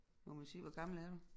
Må man sige hvor gammel er du